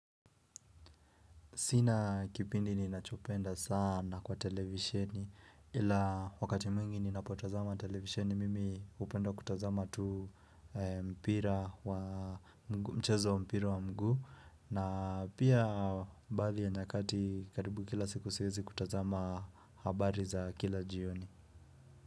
Sina kipindi ninachopenda sana kwa televisheni ila wakati mwingi ninapotazama televisheni mimi hupenda kutazama tu mpira wa mchezo mpira wa mguu na pia baadhi ya nyakati karibu kila siku siezi kutazama habari za kila jioni.